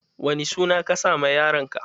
Wani suna ka sa ma yaron ka?